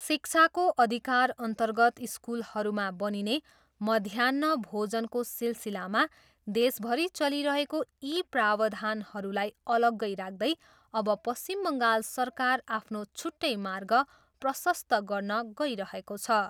शिक्षाको अधिकारअर्न्तगत स्कुलहरूमा बनिने मध्याह्न भोजनको सिलसिलामा देशभरि चलिरहेको यी प्रावधानहरूलाई अलग्गै राख्दै अब पश्चिम बङ्गाल सरकार आफ्नो छुट्टै मार्ग प्रशस्त गर्न गइरहेको छ।